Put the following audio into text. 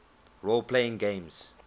role playing games